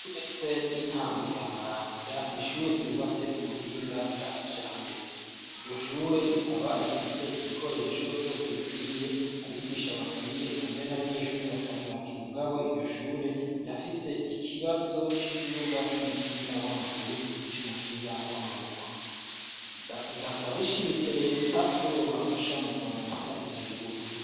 Ishure ritoya ry'intango rya Maramvya n'ishure ryubatse ku buhinga bwa kijambere iryoshure rikaba rifise ibikoresho byose bikwiye abigisha bapwiye ekamere n'abanyeshuri batari bakimugabo iryoshure rirafise ikibazo c'ikibibuga c'umupira w'amaguru nicy'umupira w'amaboko rigasaba rishimitse leta ko yobafasha mu kubarosa ivyo bibuga.